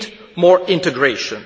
We need more integration.